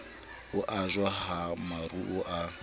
ho ajwa ha maruo a